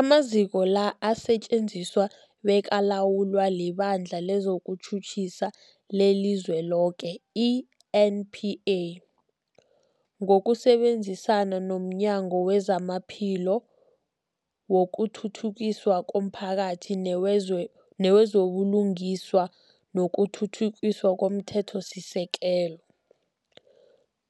Amaziko la asetjenziswa bekalawulwa liBandla lezokuTjhutjhisa leliZweloke, i-NPA, ngokusebenzisana nomnyango wezamaPhilo, wokuthuthukiswa komphakathi newezo buLungiswa nokuThuthukiswa komThethosisekelo,